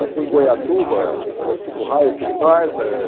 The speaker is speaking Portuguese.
Vai ser em Goiatuba, o raio que o parta. Eh